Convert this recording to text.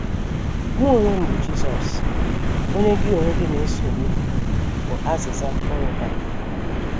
“ Mụ onwe m bụ Jisọs, Onye gị onwe gị na - esogbu, ” bụ azịza o nwetara.